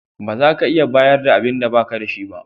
Ba za ka iya bayar da abinda ba ka da shi ba.